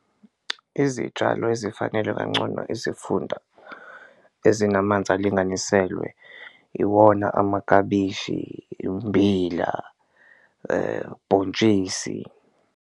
Izitshalo ezifanele kancono isifunda ezinamanzi alinganiselwe iwona amakabishi, immbila, bhontshisi.